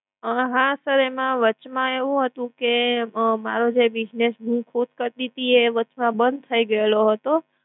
પણ હા sir એમાં વચ માં એવું હતું કે જે મારો business હુ ખુદ કરતી તી એ વચ માં બંધ થઈ ગયો હતો